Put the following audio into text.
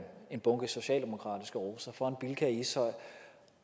en bunke socialdemokratiske roser foran bilka i ishøj